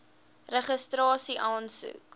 registrasieaansoek